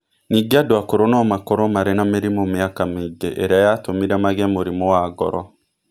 Ningĩ andũ akũrũ no makorũo marĩ na mĩrimũ mĩaka mingĩ ĩrĩa yatũmire magĩe mũrimũ wa ngoro.